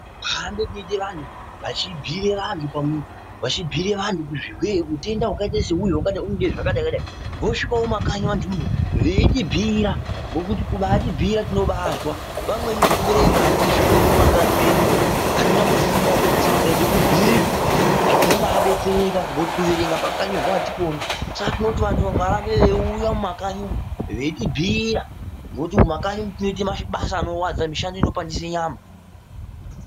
Kuhamba kwoite vanthu vachibhiire vanthu kuti utenda hwakaita seuhu hunoda zvakati zvakati, vogumawo vanthu veitibhiira. Ngekuti kutibhiira tinobaazwa. Vamweni zvekuerenga atizvikoni mumakanyi mwedu umwu, atizi kufunda. Saka tikaite ekubhuirwa tinobaadetsereka ngekuti kuerenga pakanyorwa atikoni. Saka tinoti anthu ngaarambe eiuya mumakanyi umwu veitibhiira. Ngekuti mumakanyi umwu tinoite mishando inorwadza, mishando inopandise nyama.